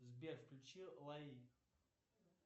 сбер включи лаи